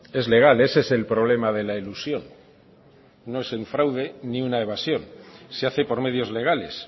es legal ese es el problema de la elusión no es un fraude ni una evasión se hace por medios legales